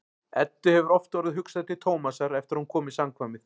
Eddu hefur oft orðið hugsað til Tómasar eftir að hún kom í samkvæmið.